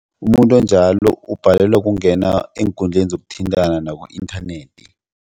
Umuntu onjalo ubhalelwa kungena eenkundleni zokuthintana naku-inthanethi.